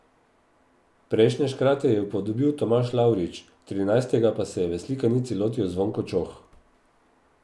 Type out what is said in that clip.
Prejšnje škrate je upodobil Tomaž Lavrič, trinajstega pa se je v slikanici lotil Zvonko Čoh.